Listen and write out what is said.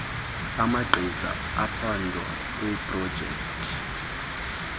amagqiza ophando eeprojekthi